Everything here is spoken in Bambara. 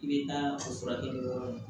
I bɛ taa o furakɛ